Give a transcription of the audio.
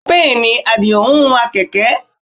Bẹ́ẹ̀ ni, Àdìó ń wa kẹ̀kẹ́